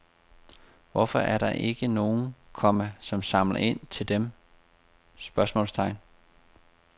Hvorfor er der ikke nogen, komma som samler ind til dem? spørgsmålstegn